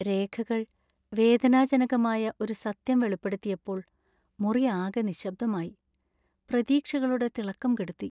രേഖകള്‍ വേദനാജനകമായ ഒരു സത്യം വെളിപ്പെടുത്തിയപ്പോൾ മുറിയാകെ നിശബ്ദമായി; പ്രതീക്ഷകളുടെ തിളക്കം കെടുത്തി.